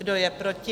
Kdo je proti?